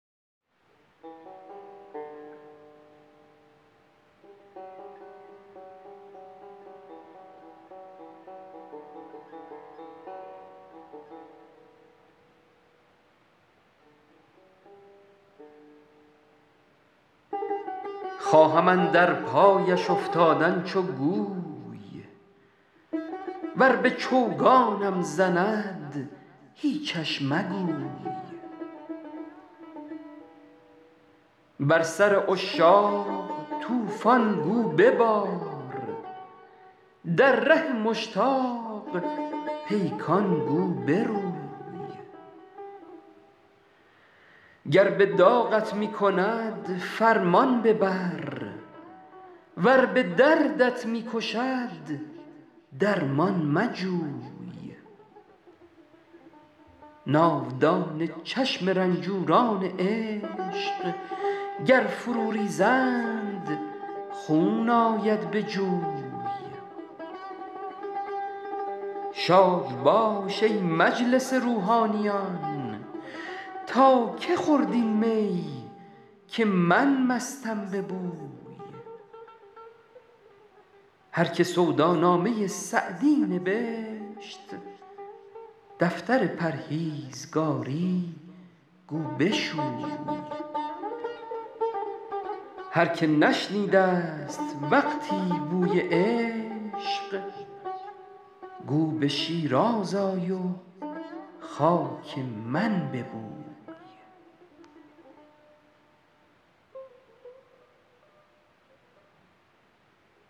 خواهم اندر پایش افتادن چو گوی ور به چوگانم زند هیچش مگوی بر سر عشاق طوفان گو ببار در ره مشتاق پیکان گو بروی گر به داغت می کند فرمان ببر ور به دردت می کشد درمان مجوی ناودان چشم رنجوران عشق گر فرو ریزند خون آید به جوی شاد باش ای مجلس روحانیان تا که خورد این می که من مستم به بوی هر که سودا نامه سعدی نبشت دفتر پرهیزگاری گو بشوی هر که نشنیده ست وقتی بوی عشق گو به شیراز آی و خاک من ببوی